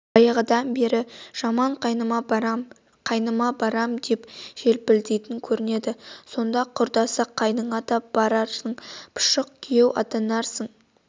баяғыда бір жаман қайныма барам қайныма барам деп желпілдейтн көрнеді сонда құрдасы қайныңа да барарсың пұшық күйеу атанарсың